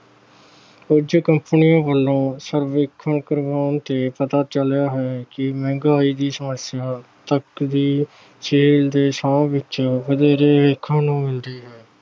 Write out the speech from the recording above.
ਕੁਝ company ਵੱਲੋਂ ਸਰਵੇਖਣ ਕਰਵਾਉਣ ਤੇ ਪਤਾ ਚੱਲਿਆ ਹੈ ਕਿ ਮਹਿੰਗਾਈ ਦੀ ਸਮੱਸਿਆ ਵਿੱਚ ਵਧੇਰੇ ਦੇਖਣ ਨੂੰ ਮਿਲਦੀ ਹੈ।